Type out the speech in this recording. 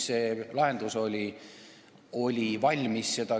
See lahendus oli juba valmis.